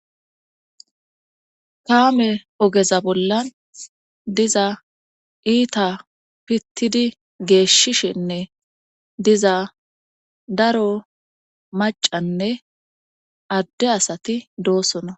kaame ogeza bollan diza iita pittidi geeshshishenne diza daro macanne adde asati doosona